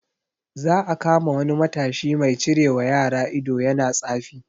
Za a kama wani matashi mai cirewa yara ido yana tsafi